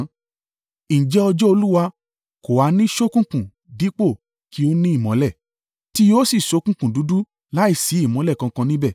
Ǹjẹ́ ọjọ́ Olúwa kò ha ní ṣókùnkùn dípò kí ó ní ìmọ́lẹ̀? Tí yóò sì ṣókùnkùn dúdú láìsí ìmọ́lẹ̀ kankan níbẹ̀.